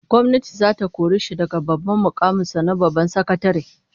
Gwamnati zata kore shi daga mukamin sa na babban sakatare